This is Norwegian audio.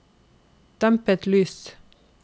dempet lys